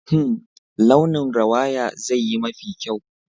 Hmm! launin rawaya zai yi mafi kyau